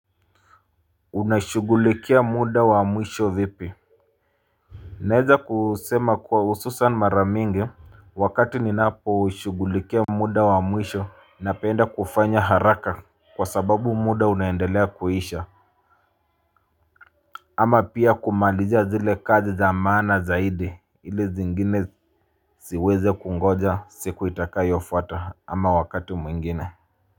Unashughulikia muda wa mwisho vipi. Naweza kusema kwa hususan mara mingi wakati ninaposhughulikia muda wa mwisho napenda kufanya haraka kwa sababu muda unaendelea kwisha. Ama pia kumalizia zile kazi za maana zaidi ili zingine ziweze kungoja siku itakayofuata ama wakati mwingine.